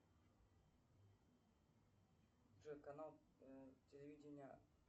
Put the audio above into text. джой канал телевидения